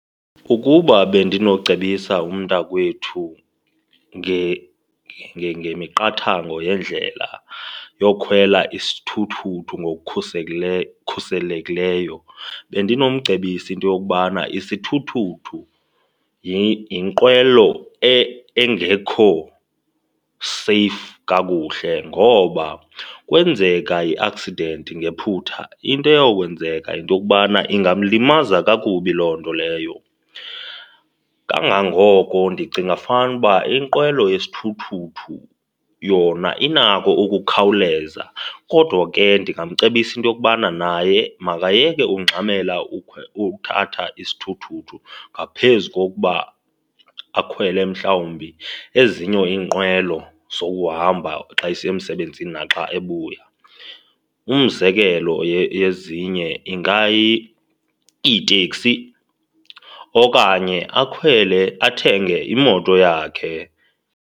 Ukuba bendinocebisa umntakwethu ngemiqathango yendlela yokhwela isithuthuthu khuselekileyo, bendinomcebisa into yokubana isithuthuthu yinqwelo engekho seyifu kakuhle ngoba kwenzeka ii-accident ngephutha, into eyawukwenzeka yinto yokubana ingamlimaza kakubi loo nto leyo. Kangangoko ndicinga fanuba inqwelo wesithuthuthu yona inako ukukhawuleza kodwa ke ndingamcebisa into yokubana naye makayeke ungxamele uthatha isithuthuthu ngaphezu kokuba akhwele mhlawumbi ezinye iinqwelo zokuhamba xa esiya emsebenzini naxa ebuya. Umzekelo yezinye ingayiteksi okanye akhwele, athenge imoto yakhe.